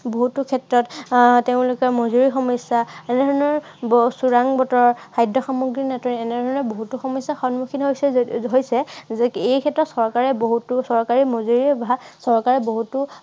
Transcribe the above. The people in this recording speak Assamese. বহুতো ক্ষেত্ৰত তেওঁলোকে আহ তেওঁলোকৰ মজুৰিৰ সমস্য়া এনেধৰণৰ, আহ খৰাং বতৰ, খাদ্য় সামগ্ৰী নাটে, এনেধৰণৰ বহুতো সমস্য়াৰ সন্মুখীন হৈছে যদি হৈছে। এই ক্ষেত্ৰত চৰকাৰে বহুতো চৰকাৰে মুজুৰিৰ অভাৱ চৰকাৰে